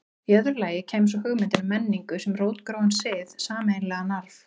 Í öðru lagi kæmi svo hugmyndin um menningu sem rótgróinn sið, sameiginlegan arf.